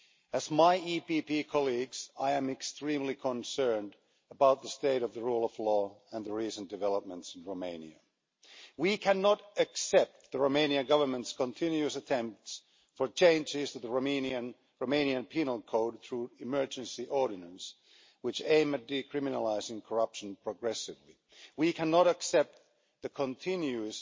As my EPP colleagues, I am extremely concerned about the state of the rule of law and the recent developments in Romania. We cannot accept the Romanian Government's continuous attempts to make changes to the Romanian penal code through emergency ordinance, which aim at decriminalising corruption progressively. We cannot accept the continuous